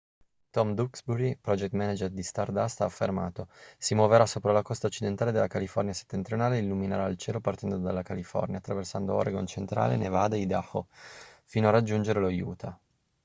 tom duxbury project manager di stardust ha affermato si muoverà sopra la costa occidentale della california settentrionale e illuminerà il cielo partendo dalla california attraversando oregon centrale nevada e idaho fino a raggiungere lo utah